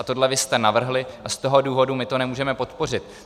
A tohle vy jste navrhli a z toho důvodu my to nemůžeme podpořit.